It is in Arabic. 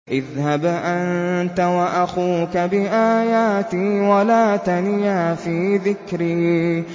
اذْهَبْ أَنتَ وَأَخُوكَ بِآيَاتِي وَلَا تَنِيَا فِي ذِكْرِي